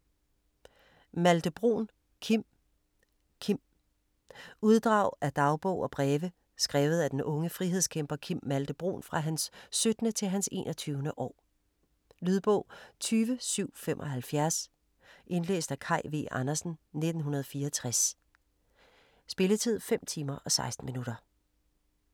Malthe-Bruun, Kim: Kim Uddrag af dagbog og breve skrevet af den unge frihedskæmper Kim Malthe-Bruun fra hans 17. til hans 21. år. Lydbog 20775 Indlæst af Kaj V. Andersen, 1964. Spilletid: 5 timer, 16 minutter.